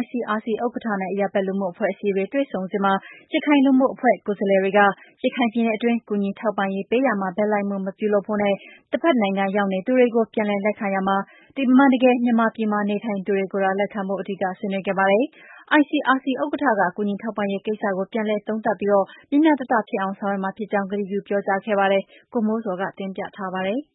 ICRC ဥက္ကဋ္ဌနဲ့ အရပ်ဘက်လူမှုအဖွဲ့အစည်းတွေ တွေ့ဆုံ စဉ်မှာ ရခိုင်လူမှုအဖွဲ့ ကိုယ်စားလှယ်တွေက ရခိုင်ပြည်နယ်အတွင်း ကူညီထောက်ပံ့ပေး ရာမှာ ဘက်လိုက်မှုမပြုဖို့နဲ့ တဘက်နိုင်ငံ ရောက်နေသူတွေကို ပြန်လည်လက်ခံရာမှာ အမှန်တကယ် မြန်မာပြည်မှာ နေထိုင်သူတွေကိုသာ လက်ခံဖို့ အဓိက ဆွေးနွေးခဲ့ပါတယ်။ ICRC ဥက္ကဋ္ဌက ကူညီထောက်ပံရေးကိစ္စကို ပြန်လည်သုံးသပ်ပြီး မျှမျှတတ ဖြစ်အောင် ဆောင်ရွက်မှာဖြစ်ကြောင်း ကတိပြုပြောကြားခဲ့ပါတယ်။ ဗွီအိုအေမြန်မာပိုင်း သတင်းထောက် ကိုမိုးဇော်က တင်ပြထားပါတယ်။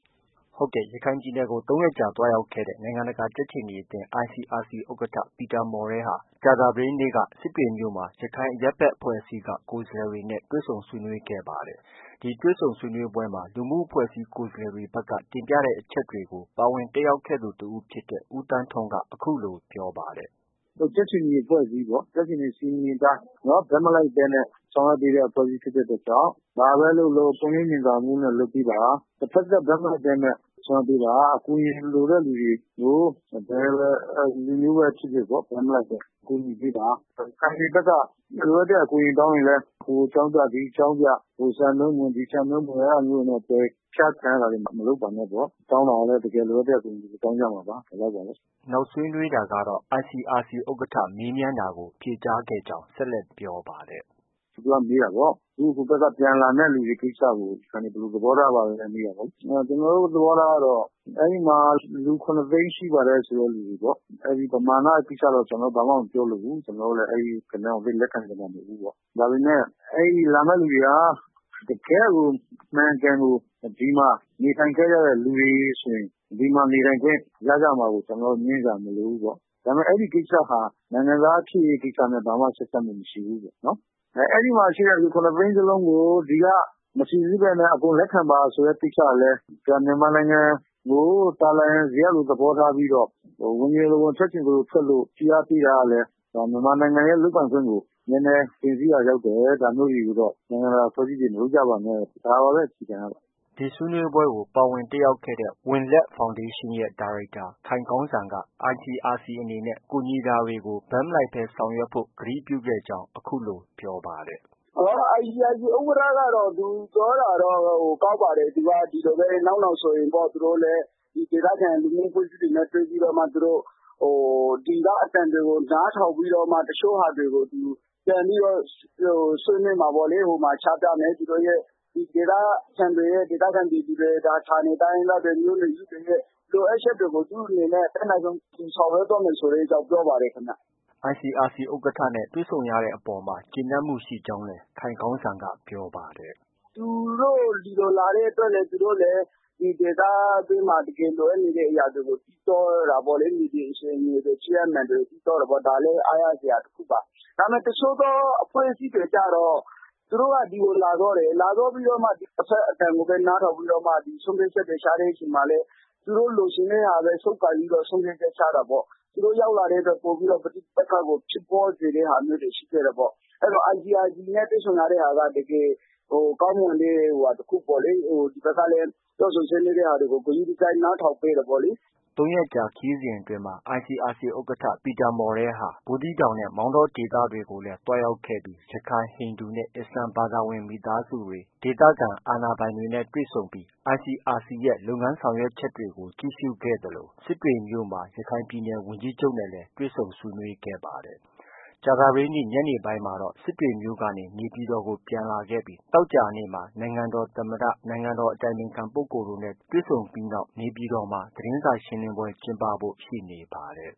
ရခိုင်ပြည်နယ်ကို ၃ ရက်ကြာသွားရောက်ခဲ့တဲ့ နိုင်ငံတကာ ကြက်ခြေနီအသင်း ICRC ဥက္ကဋ္ဌ ပီတာမော်ရဲဟာ ကြာသပတေးနေ့က စစ်တွေမြို့၊ ရခိုင်အရပ်ဘက်အဖွဲ့အစည်းက ကိုယ်စားလှယ်တွေနဲ့ တွေ့ဆုံဆွေးနွေးခဲ့တာ ဖြစ်ပါတယ်။ ဒီတွေ့ဆုံပွဲမှာ လူမှုအဖွဲ့အစည်း ကိုယ်စားလှယ်တွေဘက်က တင်ပြတဲ့အချက်တွေကို ပါဝင် တက်ရောက်ခဲ့သူ တဦးဖြစ်တဲ့ ဦးသန်းထွန်းက အခုလို ပြောပါတယ်။ “ကြက်ခြေနီအဖွဲ့အစည်းပေါ့။ ကြက်ခြေနီစည်းမျဉ်းအတိုင်း ဘက်မလိုက်ဘဲ ဆောင်ရွက် ပေးတဲ့ အဖွဲ့အစည်း ဖြစ်တဲ့ အတွက်ကြောင့် ဘာပဲလုပ်လုပ်ပွင့်လင်းမြင်သာမှုနဲ့ လုပ်ပေး ပါ။ တဘက်သတ်ဘက်မလိုက်ဘဲနဲ့ ဆောင်ရွက် ပေးပါ။ အကူအညီလိုတဲ့လူတွေကို ဘယ်လူမျိုးပဲဖြစ်ဖြစ်ပေါ့ ဘက်မလိုက်ဘဲ ကူညီပေးပါ။ ရခိုင်တွေ ဘက်က လိုအပ်တဲ့ အကူအညီတောင်းရင်လည်း ဟိုအကြောင်းပြ ဒီအကြောင်းပြ ဟိုစံနှုန်းမဝင်၊ ဒီစံနှုန်းမဝင်နဲ့ အဲဒါမျိုးတွေနဲ့ ပယ်ချခံရတာတွေ မလုပ်ပါနဲ့ပေါ့။ တောင်းတာကလည်း တကယ်လိုအပ်တဲ့ အကူအညီတွေ တောင်းကြမှာပါ။ ” နောက်ဆွေးနွေးတာကတော့ ICRC ဥက္ကဋ္ဌ မေးမြန်းတာကို ဖြေကြားခဲ့ကြောင်း ဆက် လက် ပြောပါတယ်။ “သူက မေးတာပေါ့။ ဟိုဘက်က ပြန်လာမယ့်သူတွေအပေါ် ရခိုင်တွေ ဘယ်လို သဘော ထားပါသလဲပေါ့။ ကျနော်တို့ သဘောထားကတော့ အဲဒီမှာ လူ ၇ သိန်း ရှိပါတယ် ဆိုတဲ့ လူတွေပေါ့။ ပမာဏကိစ္စတော့ ဘာမှ မပြောလိုဘူး။ ကျနော်တို့လည်း အဲဒီဂဏန်းကို လက်ခံတာမဟုတ်ဘူးပေါ့။ အဲဒီလာမယ့်သူတွေဟာ တကယ့်ကို ဒီမှာ အမှန်အကန် နေထိုင်ခဲ့ကြတဲ့လူတွေဆိုရင် ဒီမှာ နေထိုင်ခွင့်ရကြမှာကို ကျနော်တို့ ငြင်းစရာမလိုဘူးပေါ့။ ဒါပေမဲ့ အဲဒီကိစ္စဟာ နိုင်ငံသားဖြစ်ရေးကိစ္စနဲ့ ဘာမှ ဆက်စပ်မှုမရှိဘူးပေါ့။ အဲဒီမှာ ရှိတဲ့ လူ ၇ သိန်းစလုံးကို ဒီက မစိစစ်ဘဲနဲ့ အကုန်လက်ခံပါဆိုတဲ့ ကိစ္စကလည်း ဒါ မြန်မာနိုင်ငံ ကို သာလာယံဇရပ်လို သဘောထားပြီးတော့ ဝင်ချင်သလိုဝင်၊ ထွက်ချင်သလိုထွက်လို့ ဖိအားပေးတာကလည်း ဒါမြန်မာနိုင်ငံရဲ့လုပ်ပိုင်ခွင့်ကို နည်းနည်း တင်စီးရာ ရောက်တယ်။ ဒါမျိုးတွေကိုတော့ နိုင်ငံတကာအဖွဲ့အစည်းတွေ မလုပ်ကြပါနဲ့၊ ဒါပါပဲ အခြေခံကတော့။” ဒီဆွေးနွေးပွဲကို ပါဝင်တက်ရောက်ခဲ့တဲ့ ဝံလက်ဖောင်ဒေးရှင်းရဲ့ ဒါရိုက်တာ ခိုင်ကောင်းစံက ICRC အနေနဲ့ ကူညီ တာတွေကို ဘက်မလိုက်ဘဲ ဆောင်ရွက်ဖို့ ကတိပြုခဲ့ကြောင်း အခုလို ပြောပါတယ်။ “ ICRC ဥက္ကဋ္ဌကတော့ သူပြောတာတော့ ကောင်းပါတယ်။ နောက်နောင်ဆိုရင် သူတို့ လည်း ဒေသခံ လူမှုအဖွဲ့ အစည်းတွေနဲ့တွေ့ပြီးတော့မှ သူတို့ ဒီက အသံတွေကို နားထောင်ပြီးတော့မှ တချို့ဟာတွေကို သူ ပြန်ပြီးတော့ ဆွေးနွေးမှာပေါ့လေ။ ဟိုမှာ ချပြမယ်။ ဒေသခံပြည်သူတွေ၊ ဌာနေတိုင်းရင်းသားတွေရဲ့ လိုအပ်ချက်တွေကို သူ့ အနေနဲ့ အတတ်နိုင်ဆုံး ဆောင်ရွက်သွားမယ်ဆိုတဲ့အကြောင်း ပြောပါတယ်။” ICRC ဥက္ကဋ္ဌနဲ့ တွေ့ဆုံရတဲ့အပေါ်မှာ ကျေနပ်မှုရှိကြောင်းလည်း ခိုင်ကောင်းစံက ပြောပါ တယ်။ “သူတို့ ဒီကိုလာတဲ့အတွက် သူတို့လည်း ဒီဒေသအတွင်းမှာ တကယ်လိုအပ်နေတဲ့ အရာတွေကို သိသွားတာပေါ့ လေ။ မြေပြင်အခြေအနေတွေ ဖြစ်ရပ်မှန်တွေ သိသွား တာပေါ့။ ဒါလည်း အားရစရာတခုပါ။ ဒါပေမဲ့ တချို့သော အဖွဲ့အစည်းတွေကျတော့ သူ တို့က ဒီကိုလာသွားတယ်။ လာသွားပြီးတော့ တဘက်အသံကိုပဲ နားထောင်ပြီး တော့မှ ဆုံးဖြတ်ချက်တွေ ချတဲ့အချိန်မှာလည်း သူတို့ လိုချင်တဲ့ဟာပဲ ဆုပ်ကိုင်ပြီးတော့ ဆုံးဖြတ် ချက် ချတာ ပေါ့။ သူတို့ ရောက်လာပြီးတော့ ပဋိပက္ခကို ပိုပြီးဖြစ်ပွားစေတာတွေ ရှိခဲ့တယ် ပေါ့။ အဲတော့ ICRC နဲ့ တွေ့ဆုံရတဲ့ ဟာက တကယ် ကောင်းမွန်တဲ့ဟာ တခုပေါ့လေ။ ဒီ ဘက်ကလည်း ပြောဆိုဆွေးနွေးတဲ့ဟာတွေကို ဂရုတစိုက် နားထောင်ပေးတယ်ပေါ့လေ။ ” ၃ ရက်ကြာ ခရီးစဉ်အတွင်းမှာ ICRC ဥက္ကာ ပီတာမော်ရဲဟာ ဘူးသီးတောင်နဲ့ မောင်းတော ဒေသတွေကိုလည်း သွားရောက်ခဲ့ပြီး ရခိုင်၊ ဟိန္ဒူနဲ့ အစ္စလာမ်ဘာသာဝင် မိသားစုတွေ ၊ဒေသခံအာဏာပိုင်တွေနဲ့ တွေ့ဆုံပြီးICRC ရဲ့ လုပ်ငန်းဆောင်ရွက်ချက်တွေ ကို ကြည့်ရှုခဲ့သလို စစ်တွေမြို့မှာ ရခိုင်ပြည်နယ်ဝန်ကြီးချုပ်နဲ့လည်း တွေ့ဆုံ ဆွေးနွေး ခဲ့ပါတယ်။ ကြာသပတေးနေ့ ညနေပိုင်းမှာ စစ်တွေမြို့ကနေ နေပြည်တော်ကိုပြန်လာခဲ့ပြီး သောကြာနေ့မှာတော့ နိုင်ငံ တော် သမ္မတ၊ နိုင်ငံတော်အတိုင်ပင်ခံပုဂ္ဂိုလ်တို့နဲ့တွေ့ဆုံပြီး နေပြည်တော်မှာ သတင်းစာရှင်းလင်းဖို့ ရှိနေပါတယ်။